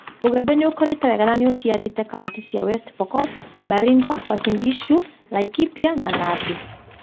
Ũgĩmbĩ nĩũkũrĩte na nĩuciarite wega kauntĩ cia West Pokot, Baringo, Uasin Gishu, Laikipia na Nandi